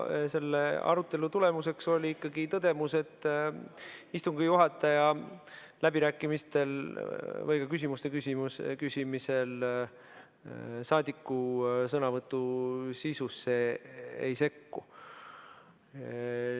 Selle arutelu tulemuseks oli ikkagi tõdemus, et istungi juhataja läbirääkimistel või ka küsimuste küsimise ajal saadiku sõnavõtu sisusse ei sekku.